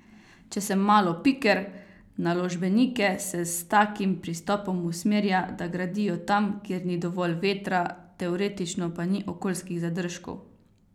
Če sem malo piker, naložbenike se s takim pristopom usmerja, da gradijo tam, kjer ni dovolj vetra, teoretično pa ni okoljskih zadržkov.